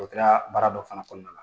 O kɛra baara dɔ fana kɔnɔna na.